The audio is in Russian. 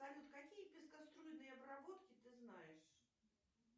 салют какие пескоструйные обработки ты знаешь